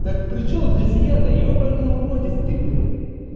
так причём здесь я-то ёбаный уродец ты блять